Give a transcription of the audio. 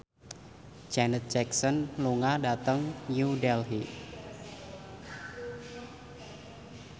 Janet Jackson lunga dhateng New Delhi